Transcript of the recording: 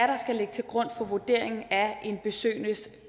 der skal ligge til grund for vurderingen af en besøgendes